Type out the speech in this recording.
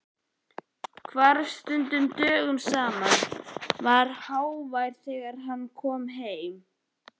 Hvarf stundum dögum saman, var hávær þegar hann kom heim.